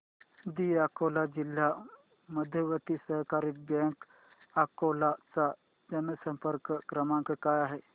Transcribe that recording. दि अकोला जिल्हा मध्यवर्ती सहकारी बँक अकोला चा जनसंपर्क क्रमांक काय आहे